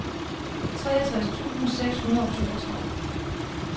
treogtres tusind seks hundrede og toogtredive